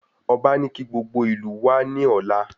Ọba ní kí gbogbo ìlú wá ní ọ̀la